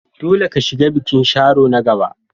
Dole ka shiga bikin Sharo na gaba!